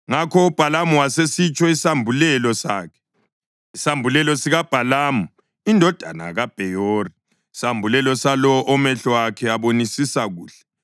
Ngakho uBhalamu wasesitsho isambulelo sakhe: “Isambulelo sikaBhalamu indodana kaBheyori, isambulelo salowo omehlo akhe abonisisa kuhle,